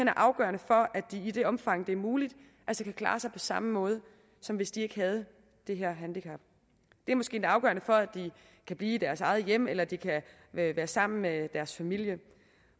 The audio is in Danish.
er afgørende for at de i det omfang det er muligt kan klare sig på samme måde som hvis de ikke havde det her handicap det er måske lidt afgørende for at de kan blive i deres eget hjem eller at de kan være sammen med deres familie